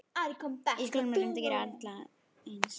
Í skólum er reynt að gera alla eins.